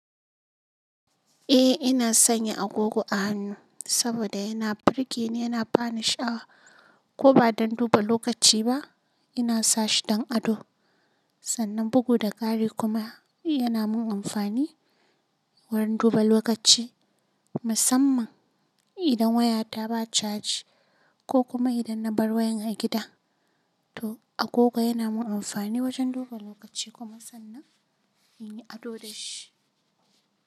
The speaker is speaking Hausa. Eh ina sanya agogo a hannu saboda yana burge ni, yana bani sha'awa ko ba don duba lokaci ba. Ina sa shi don ado sannan bugu da kari kuma yana min amfani wurin duba lokaci musamman idan wayata ba caji ko kuma idan na bar wayan a gida. To agogo yana min amfani wajen duba lokaci kuma sannan ina ado da shi.